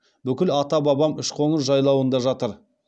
бүкіл ата бабам үшқоңыр жайлауында жатыр